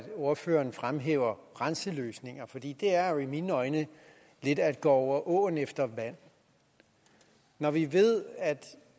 ordføreren fremhæver grænseløsninger for det er jo i mine øjne lidt at gå over åen efter vand når vi ved at